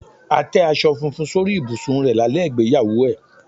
A tẹ́ aṣọ funfun sórí ibùsùn rẹ̀ lálẹ́ ìgbéyàwó ẹ̀.